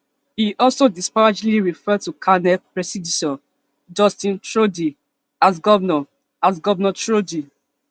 e also disparagingly refer to carney predecessor justin trudeau as governor as governor trudeau